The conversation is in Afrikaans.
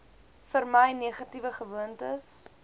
vermy negatiewe gewoontes